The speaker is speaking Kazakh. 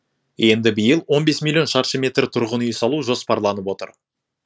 енді биыл он бес миллион шаршы метр тұрғын үй салу жоспарланып отыр